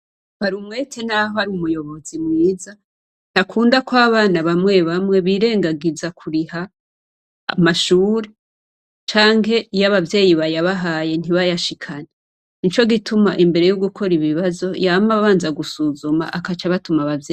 Barumwete naho ari umuyobozi mwiza ntakunda ko abana bamwe bamwe birengagiza kuriha amashure canke iyo abavyeyi bayabahaye ntibayashikane. Nico gituma imbere yo gukora ibibazo yama abanza gusuzuma agaca abatuma abavyeyi.